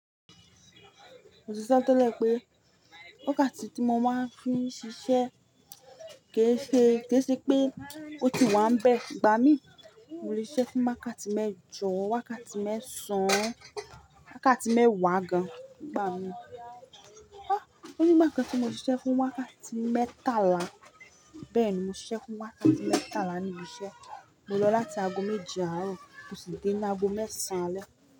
Mo sì sọ tó lẹ̀ pé, wákàtí tí mo máa ń fi ṣiṣẹ́ ké ṣe, ké ṣe pé ó ti wá ń bẹ igbà mí. Mo lè ṣẹ́ fún wákàtí mẹ́jọ, wákàtí mẹ́sàn án, wákàtí mẹ́wàá gan gbà mí. Ó ní ìgbà kan tí mo ti ṣẹ́ fún wákàtí mẹ́tàlá. Bẹ́ẹ̀ ni mo ṣiṣẹ́ fún wákàtí mẹ́tàlá níbi iṣẹ́. Mo lọ láti ago méje àárọ̀ tún sì dé ní ago mẹ́sàn án alẹ́.